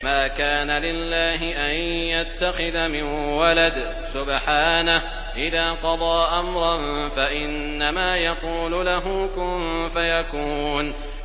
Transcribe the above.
مَا كَانَ لِلَّهِ أَن يَتَّخِذَ مِن وَلَدٍ ۖ سُبْحَانَهُ ۚ إِذَا قَضَىٰ أَمْرًا فَإِنَّمَا يَقُولُ لَهُ كُن فَيَكُونُ